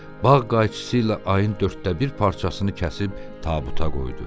Bağ qayçısı ilə ayın dörddə bir parçasını kəsib tabuta qoydu.